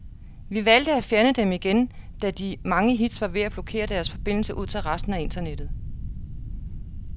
Vi valgte at fjerne dem igen, da de mange hits var ved at blokere deres forbindelse ud til resten af internettet.